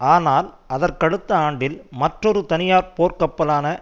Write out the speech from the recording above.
ஆனால் அதற்கடுத்த ஆண்டில் மற்றொரு தனியார் போர்கப்பலான